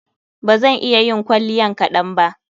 Ba zan iya yin kwalliyan kaɗan ba.